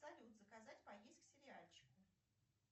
салют заказать поесть к сериальчику